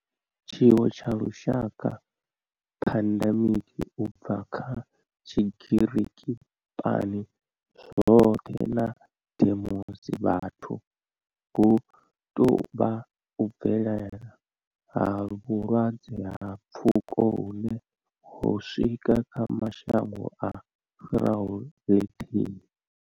Tshiwo tsha lushaka pandemic u bva kha tshigiriki pan zwothe na demos vhathu hu tou vha u bvelela ha vhulwadze ha pfuko hune ho swika kha mashango a fhiraho lithihi.